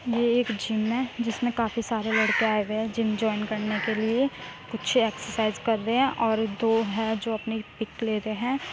ये एक जिम है जिसमें काफी सारे लड़के आए हुए है जिम जॉइन करने के लिए। कुछ एक्सरसाइज कर रहे है और दो है जो है अपनी पिक ले रहे हैं।